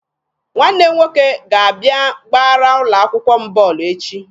Nwanne m nwoke ga-abịa gbara ụlọ akwụkwọ m bọọlụ echi.